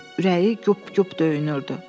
Ürəyi güp güp döyünürdü.